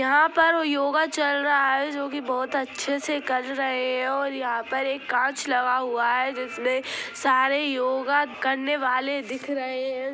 यहाँ पर योगा चल रहा है जो की बहुत अच्छे से कर रहे है और यहाँ पर एक काँच लगा हुआ है जिसमे सारे योगा करने वाले दिख रहे हैं।